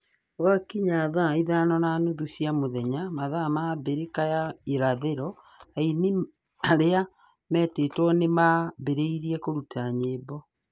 Gwakinya thaa ithano na nuthu cia mũthenya (mathaa ma Abirika ya Irathĩro) aini arĩa metĩtwo nĩ marambĩrĩria kũruta nyĩmbo.